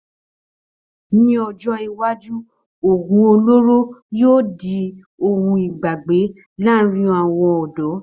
Ní ọjọ́ iwájú, oògùn olóró yóò di ohun ìgbàgbé láàárín àwọn ọ̀dọ́